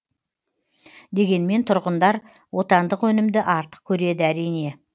дегенмен тұрғындар отандық өнімді артық көреді әрине